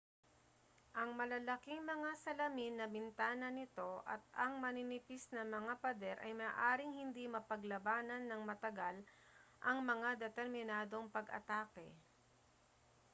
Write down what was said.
ang malalaking mga salamin na bintana nito at ang maninipis na mga pader ay maaaring hindi mapaglabanan nang matagal ang mga determinadong pag-atake